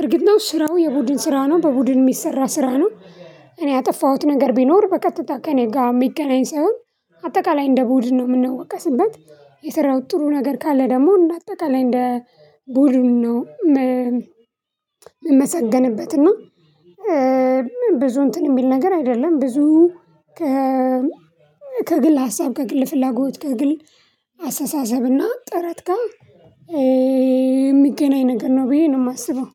እርግጥ ነው ስራው የቡድን ስራ ነው በቡድን የሚሰራ ስራ ነው። እኔ ያጠፋሁት ነገር ቢኖር በቀጥታ ከእኔ ጋር የሚገናኝ ሰው አጠቃላይ እንደ ቡድን ነው የምንወቀስበት የሰራው ጥሩ ነገር ካለ ደግሞ እና አጠቃላይ እንደ ቡድን ነው። የምንመሰገንበት እና ብዙ እንትን የሚል ነገር አይደለም። ብዙ ከግል ሀሳብ ከግል ፍላጎት ከግል አስተሳሰብና ጥረት ጋር የሚገናኝ ነገር ነው ብዬ ነው የማስበው።